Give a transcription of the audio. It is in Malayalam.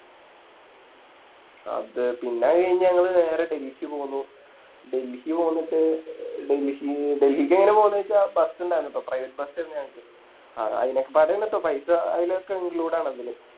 അത് പിന്നെ അത് കഴിഞ്ഞ് ഞങ്ങള് നേരെ ഡൽഹിക്ക് പോന്നു ഡൽഹിക്ക് പോന്നിട്ട് ഡെൽഹി ഡെൽഹിക്കെങ്ങനെയാ പോന്നെച്ച Bus ഇണ്ടയിന്നുട്ടോ Private bus ഇണ്ട് ഞങ്ങക്ക് അതിനൊക്കെപ്പടെയാണ് ട്ടോ പൈസ അതിനൊക്കെ Include ആണ് ഇതില്